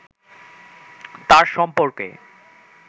তার সম্পর্কে